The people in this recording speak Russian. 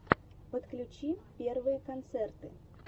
подключи первые концерты